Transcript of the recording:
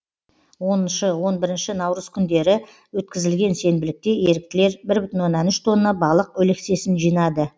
оныншы он бірінші наурыз күндері өткізілген сенбілікте еріктілер бір бүтін оннан үш тонна балық өлексесін жинады